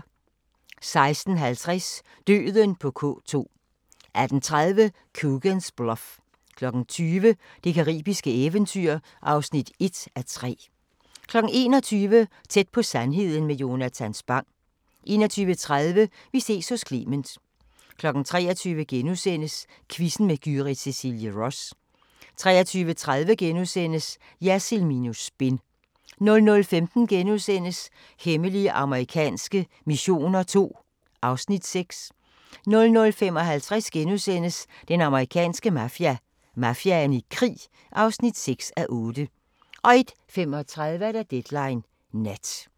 16:50: Døden på K2 18:30: Coogan's Bluff 20:00: Det caribiske eventyr (1:3) 21:00: Tæt på sandheden med Jonatan Spang 21:30: Vi ses hos Clement 23:00: Quizzen med Gyrith Cecilie Ross * 23:30: Jersild minus spin * 00:15: Hemmelige amerikanske missioner II (Afs. 6)* 00:55: Den amerikanske mafia: Mafiaen i krig (6:8)* 01:35: Deadline Nat